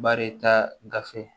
Baarita gafe